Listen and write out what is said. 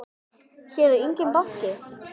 Hér er enginn banki!